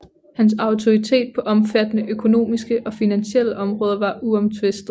Hans autoritet på omfattende økonomiske og finansielle områder var uomtvistet